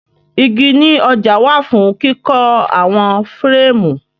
Igi ní ọjà wà fún kíkọ́ àwọn fẹ́rẹ́ẹ̀mù.